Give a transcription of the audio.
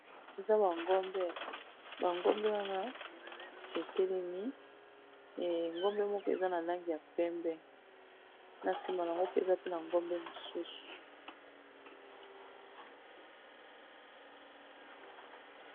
Eza ba ngombe. Ba ngombe wana etelemi eh ngombe moko eza na langi ya pembe, na nsima nango pe eza pe na ngombe mosusu.